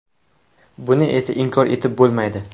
Buni esa inkor etib bo‘lmaydi.